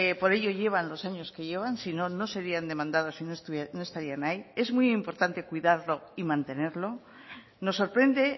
por ello llevan los años que llevan sino no serían demandados y no estarían ahí es muy importante cuidarlo y mantenerlo nos sorprende